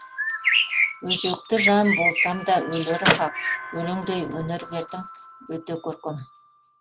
өзекті жан болсам да өлері хақ өлеңдей өнер бердің өте көркем